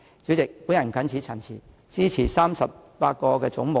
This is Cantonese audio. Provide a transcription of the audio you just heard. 主席，我謹此陳辭，支持把38個總目納入附表。